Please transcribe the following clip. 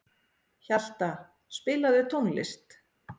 Hjalta, spilaðu tónlist.